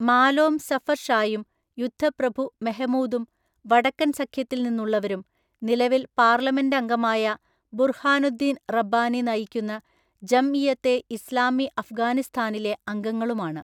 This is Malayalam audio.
മാലോം സഫർ ഷായും യുദ്ധപ്രഭു മെഹമൂദും വടക്കൻ സഖ്യത്തിൽ നിന്നുള്ളവരും നിലവിൽ പാർലമെന്റ് അംഗമായ ബുർഹാനുദ്ദീൻ റബ്ബാനി നയിക്കുന്ന ജംഇയത്തെ ഇസ്ലാമി അഫ്ഗാനിസ്ഥാനിലെ അംഗങ്ങളുമാണ്.